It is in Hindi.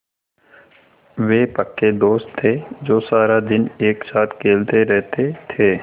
वे पक्के दोस्त थे जो सारा दिन एक साथ खेलते रहते थे